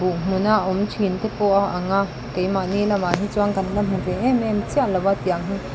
awm hmun a awm thin te pawh a ang a keimah ni lamah hi chuan kan la hmu ve em em chiah lo a tiang hi--